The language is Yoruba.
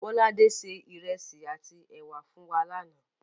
Bọ́ládé se ìrẹsì àtí èwà fún wa lánáà